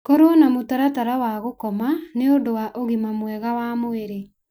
Korwo na mũtaratara wa gũkoma nĩ ũndũ wa ũgima mwega wa mwĩrĩ .